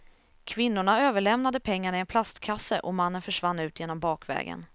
Kvinnorna överlämnade pengarna i en plastkasse och mannen försvann ut genom bakvägen.